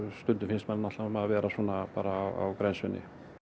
stundum finnst manni maður vera á grensunni